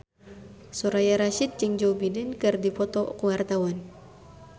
Soraya Rasyid jeung Joe Biden keur dipoto ku wartawan